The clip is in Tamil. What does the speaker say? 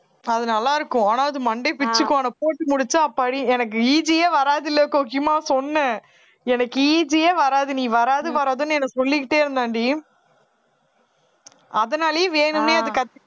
அது நல்லா இருக்கும் ஆனா அது மண்டையை பிச்சுக்கும் ஆனா போட்டு முடிச்சா அப்பாடி எனக்கு EG யே வராது இல்லை கோக்கிமா சொன்னேன் எனக்கு EG ஏ வராது நீ வராது வராதுன்னு எனக்கு சொல்லிக்கிட்டே இருந்தான்டி அதனாலேயே வேணும்னே அத கத்துக்கிட்டேன்